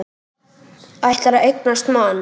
Ætlar að eignast mann.